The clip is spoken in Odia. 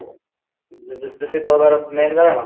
ଦୂଷିତ ହେବାର main କାରଣ